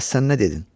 Bəs sən nə dedin?